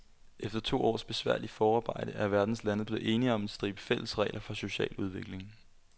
Efter to års besværligt forarbejde er verdens lande blevet enige om en stribe fælles regler for social udvikling.